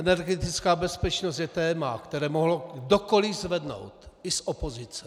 Energetická bezpečnost je téma, které mohl kdokoli zvednout, i z opozice.